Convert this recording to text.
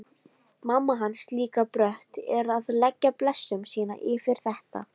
Mamma hans líka brött að leggja blessun sína yfir þetta.